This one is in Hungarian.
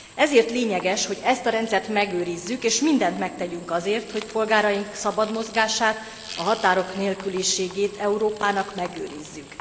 Ezért lényeges, hogy ezt a rendszert megőrizzük, és mindent megtegyünk azért, hogy polgáraink szabad mozgását, a határok nélküliséget Európának megőrizzük.